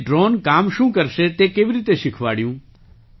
પછી ડ્રૉન કામ શું કરશે તે કેવી રીતે શીખવાડ્યું